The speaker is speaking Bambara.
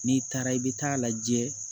N'i taara i bɛ taa lajɛ